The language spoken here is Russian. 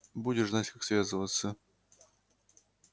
будешь знать как связываться